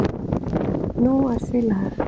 Nú er því lag.